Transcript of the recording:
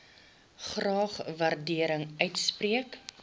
graag waardering uitspreek